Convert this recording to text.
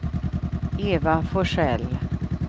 Eva Forsell